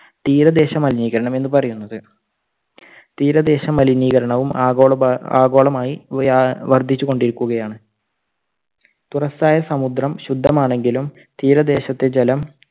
തീരദേശ മലിനീകരണം എന്ന് പറയുന്നത്. തീരദേശ മലിനീകരണവും ആഗോളഭ ആഗോളമായി വ്യ വർദ്ധിച്ചുകൊണ്ട് ഇരിക്കുകയാണ്. തുറസ്സായ സമുദ്രം ശുദ്ധമാണെങ്കിലും, തീരദേശത്തെ ജലം